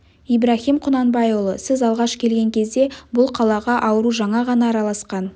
ибраһим құнанбайұлы сіз алғаш келген кезде бұл қалаға ауру жаңа ғана араласқан